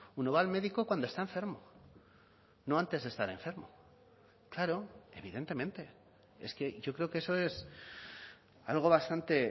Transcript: uno va al médico cuando está enfermo no antes de estar enfermo claro evidentemente es que yo creo que eso es algo bastante